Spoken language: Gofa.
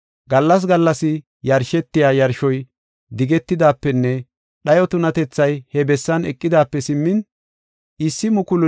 “Gallas gallas yarshetiya yarshoy digetidaapenne dhayo tunatethay he bessan eqidaape simmin, 1,290 gallas.